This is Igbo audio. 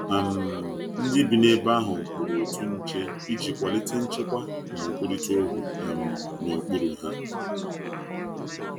um Ndi bi n'ebe ahu kpụrụ otụ nche ịjị kwalite nchekwa na nkwụrita okwu um na okpụrụ ha